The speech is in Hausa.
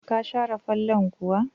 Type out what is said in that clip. Ka share fallon kuwa?